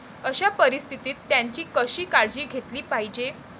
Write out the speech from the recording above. अशा परिस्थितीत त्यांची कशी काळजी घेतली पाहिजे.